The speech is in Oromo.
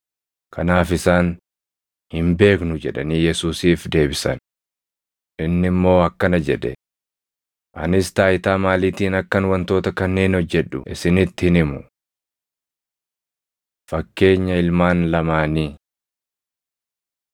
Kanaaf isaan, “Hin beeknu!” jedhanii Yesuusiif deebisan. Inni immoo akkana jedhe; “Anis taayitaa maaliitiin akkan wantoota kanneen hojjedhu isinitti hin himu.” Fakkeenya Ilmaan Lamaanii